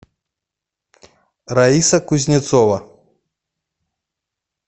раиса кузнецова